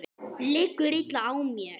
Liggur illa á mér?